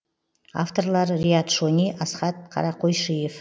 авторлары риат шони асхат қарақойшиев